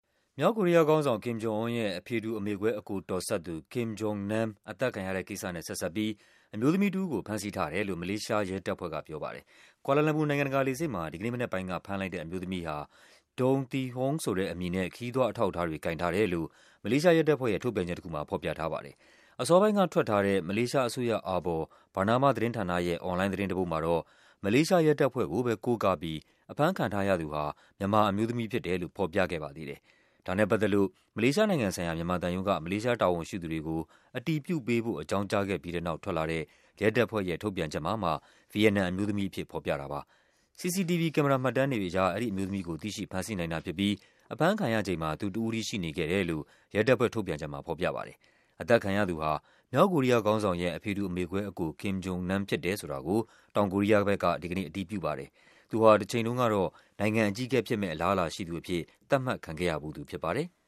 မြောက်ကိုရီးယားခေါင်းဆောင် Kim Jong-Un ရဲ့ အဖေတူ အမေကွဲ အကိုတော်စပ်သူ Kim Jong Nam အသတ်ခံရတဲ့ကိစ္စနဲ့ ဆက်စပ်ပြီး အမျိုးသမီးတဦးကို ဖမ်းဆီးထားတယ် လို့ မလေးရှားရဲတပ်ဖွဲ့က ပြောပါတယ်။ ကွာလာလမ်ပူနိုင်ငံတကာလေဆိပ်မှာ ဒီကနေ့မနက်ပိုင်းက ဖမ်းလိုက်တဲ့ အမျိုးသမီးဟာ Doan Thi Huong ဆိုတဲ့အမည်နဲ့ ခရီးသွားအထောက်အထားတွေ ကိုင်ထားတယ်လို့ မလေးရှားရဲတပ်ဖွဲ့ရဲ့ ထုတ်ပြန်ချက်တခုမှာ ဖော်ပြထားပါတယ်။ အစောပိုင်းက ထွက်ထားတဲ့ မလေးရှားအစိုးရအာဘော် Bernama သတင်းဌာနရဲ့ အွန်လိုင်းသတင်းတပုဒ်မှာတော့ မလေးရှားရဲတပ်ဖွဲ့ကိုပဲ ကိုးကားပြီး အဖမ်းခံထားရသူဟာ မြန်မာအမျိုးသမီးဖြစ်တယ်လို့ ဖော်ပြခဲ့ပါသေးတယ်။ ဒါနဲ့ပတ်သက်လို့ မလေးရှားနိုင်ငံဆိုင်ရာ မြန်မာသံရုံးက မလေးရှားတာဝန်ရှိသူတွေကို အတည်ပြုပေးဖို့ အကြောင်းကြားခဲ့ပြီးတဲ့နောက် ထွက်လာတဲ့ ရဲတပ်ဖွဲ့ရဲ့ ထုတ်ပြန် ချက်မှာမှ ဗီယက်နမ်အမျိုးသမီးအဖြစ် ဖော်ပြတာပါ။ CCTV ကင်မရာမှတ်တမ်းတွေအရ အဲဒီအမျိုးသမီးကို သိရှိဖမ်းဆီးနိုင်တာဖြစ်ပြီး အဖမ်းခံရချိန်မှာ သူတဦးတည်းရှိနေခဲ့တယ်လို့ ရဲ တပ်ဖွဲ့ထုတ်ပြန်ချက်မှာ ဖော်ပြပါတယ်။ အသတ်ခံရသူဟာ မြောက်ကိုရီးယားခေါင်းဆောင်ရဲ့ အဖေတူ အမေကွဲအကို Kim Jong Nam ဖြစ်တယ်ဆိုတာကို တောင်ကိုရီးယားက ဒီကနေ့ အတည်ပြုပါတယ်။ သူဟာ တချိန်တုန်းကတော့ နိုင်ငံအကြီးအကဲဖြစ်မယ့်အလားအလာ ရှိသူအဖြစ် သတ်မှတ်ခံခဲ့ရဖူး သူဖြစ်ပါတယ်။